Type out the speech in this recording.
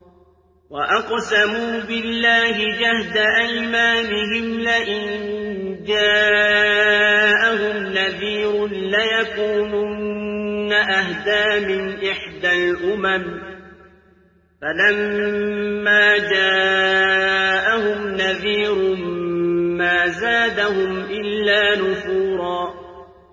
وَأَقْسَمُوا بِاللَّهِ جَهْدَ أَيْمَانِهِمْ لَئِن جَاءَهُمْ نَذِيرٌ لَّيَكُونُنَّ أَهْدَىٰ مِنْ إِحْدَى الْأُمَمِ ۖ فَلَمَّا جَاءَهُمْ نَذِيرٌ مَّا زَادَهُمْ إِلَّا نُفُورًا